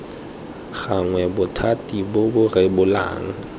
gannwe bothati bo bo rebolang